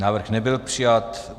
Návrh nebyl přijat.